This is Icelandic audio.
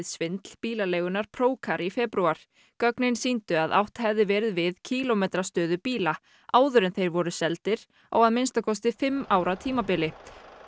svindl bílaleigunnar Procar í febrúar gögn sýndu að átt hefði verið við kílómetrastöðu bíla áður en þeir voru seldir á að minnsta kosti fimm ára tímabili